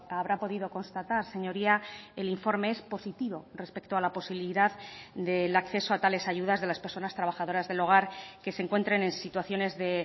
habrá podido constatar señoría el informe es positivo respecto a la posibilidad del acceso a tales ayudas de las personas trabajadoras del hogar que se encuentren en situaciones de